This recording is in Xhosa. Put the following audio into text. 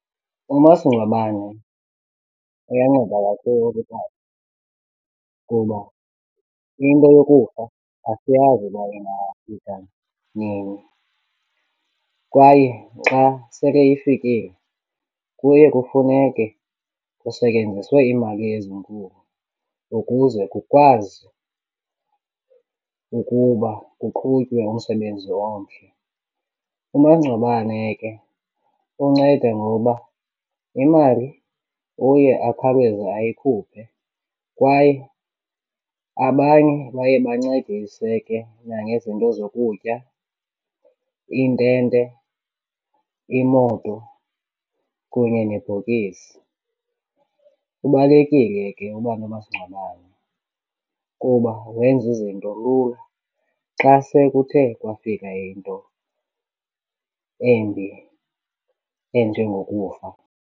Umasingcwabane uyanceda kakhulu ngoba into yokufa asiyazi uba ingafika nini kwaye xa sele ifikile kuye kufuneke kusetyenziswe iimali ezinkulu ukuze kukwazi ukuba kuqhutywe umsebenzi omhle. Umangcwabane ke unceda ngoba imali uye akhawuleze ayikhuphe kwaye abanye baye bancedise ke nangezinto zokutya, iintente, imoto kunye nebhokisi. Kubalulekile ke uba nomasingcwabane kuba wenza izinto lula xa sekuthe kwafika into embi enjengokufa.